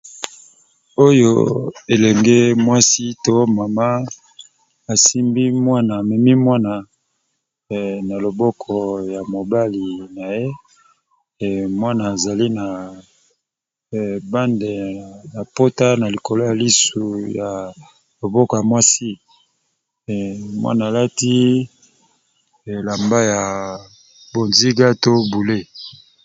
Oyo elenge mwasi to mama asimbi mwana amemi mwana na loboko ya mobali na ye mwana azali na bande ya pota na likolo ya lisu ya loboko ya mwasi mwana alati elamba ya bonziga to boule.